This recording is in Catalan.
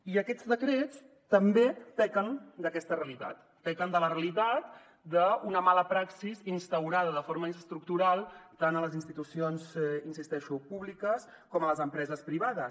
i aquests decrets també pequen d’aquesta realitat pequen de la realitat d’una mala praxi instaurada de forma estructural tant a les institucions hi insisteixo públiques com a les empreses privades